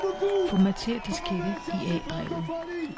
Formater diskette i A-drevet.